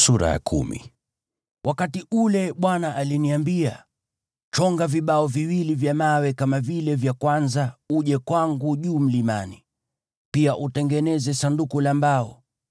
Wakati ule Bwana aliniambia, “Chonga vibao viwili vya mawe kama vile vya kwanza uje kwangu juu mlimani. Pia utengeneze Sanduku la mbao.